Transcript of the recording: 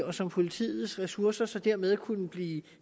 og som politiets ressourcer dermed kunne blive